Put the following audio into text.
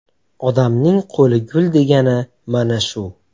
Odamning qo‘li gul degani mana shu.